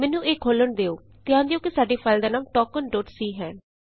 ਮੈਨੂੰ ਇਹ ਖੋਲ੍ਹਣ ਦਿਉ ਧਿਆਨ ਦਿਉ ਕਿ ਸਾਡੀ ਫਾਈਲ ਦਾ ਨਾਮ ਟੋਕਨਸੀ ਹੈ